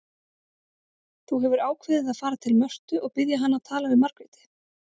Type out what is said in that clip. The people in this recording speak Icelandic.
Þú hefur ákveðið að fara til Mörtu og biðja hana að tala við Margréti.